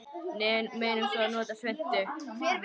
Munum svo að nota svuntu.